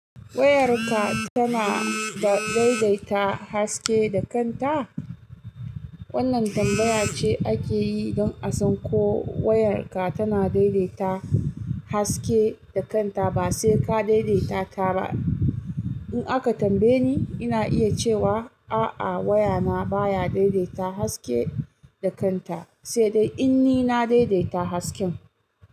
Wayarka tana da daidaita haske da kanta? Wannan tambaya ce ake yi don a san ko wayarka tana daidaita haske da kanta ba sai ka daidaita ta ba. In aka tambaye ni, ina iya cewa a'a wayana baya daidaita haske da kanta, sai dai in ni na daidaita hasken.